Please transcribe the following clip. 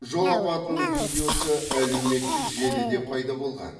жол апатының видеосы әлеуметтік желіде пайда болған